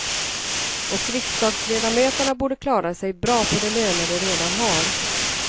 Och riksdagsledamöterna borde klara sig bra på de löner de redan har.